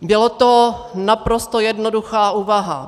Byla to naprosto jednoduchá úvaha.